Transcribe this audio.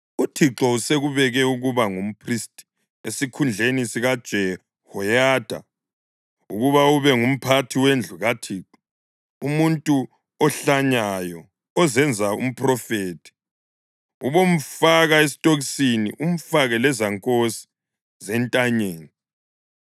‘ UThixo usekubeke ukuba ngumphristi esikhundleni sikaJehoyada ukuba ube ngumphathi wendlu kaThixo; umuntu ohlanyayo ozenza umphrofethi ubomfaka esitokisini umfake lezankosi zentanyeni.